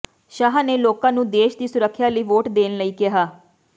ਸ਼ਾਹ ਨੇ ਲੋਕਾਂ ਨੂੰ ਦੇਸ਼ ਦੀ ਸੁਰੱਖਿਆ ਲਈ ਵੋਟ ਦੇਣ ਲਈ ਕਿਹਾ